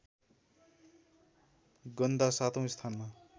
गन्दा सातौँ स्थानमा